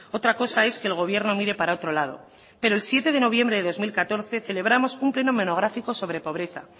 otra cosa es que el gobierno mire para otro lado pero el siete de noviembre de dos mil catorce celebramos un pleno monográfico sobre pobreza